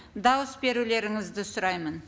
дауыс берулеріңізді сұраймын